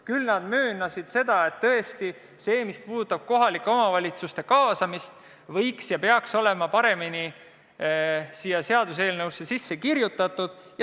Küll aga möönsid nad, et see, mis puudutab kohalike omavalitsuste kaasamist, võiks ja peaks olema paremini sellesse seaduseelnõusse sisse kirjutatud.